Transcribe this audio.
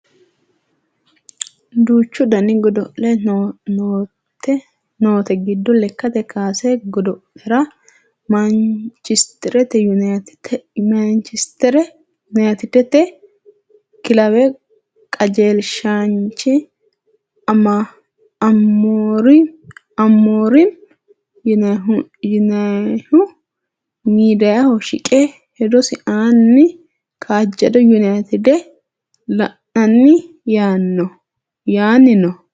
duuchu dani godo'le noote giddo lekate kaase god'lera maanchisteri yunayiitidete kilawe qajelshaanchi amoriimi yinannihu miidiyaaho shiqe hedosi aanni kaajjado yunayiitide la'inanni yaanni no